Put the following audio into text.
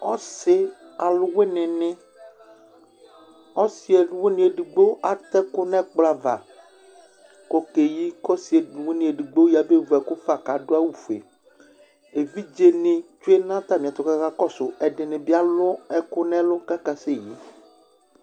Ɔsɩ aluwini nɩ: ɔsɩɔlʋwini edigbo atɛ ekʋ nʋ ɛkplɔ ava kʋ okeyi, kʋ ɔsɩ ɔlʋwini edigbo yabevu ɛkʋ fa, kʋ adu awʋfue Evidze nɩ tsʋe nʋ atami kʋ aka kɔsʋ Ɛdɩnɩ bɩ alu ɛkʋ nʋ ɛlʋ kʋ aka seyi